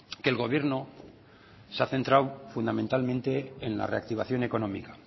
que el gobierno se ha centrado fundamentalmente en la reactivación económica